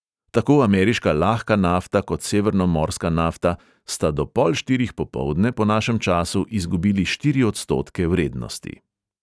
Tako ameriška lahka nafta kot severnomorska nafta sta do pol štirih popoldne po našem času izgubili štiri odstotke vrednosti.